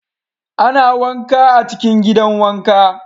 Ana wanka a cikin gidan wanka.